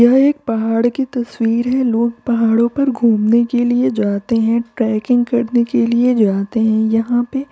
यह एक पहाड़ की तस्वीर है लोग पहाड़ों पर घूमने के लिए जाते हैं ट्रैकिंग करने के लिए जाते हैं यहाँ पे --